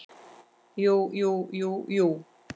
Jú jú, jú jú.